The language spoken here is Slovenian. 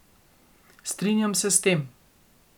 Strinjam se s tem.